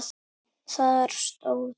Þar stóð